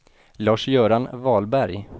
Lars-Göran Wahlberg